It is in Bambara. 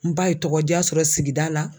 N ba ye tɔgɔja sɔrɔ sigida la.